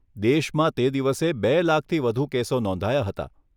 દેશમાં તે દિવસે બે લાખથી વધુ કેસો નોંધાયા હતાં.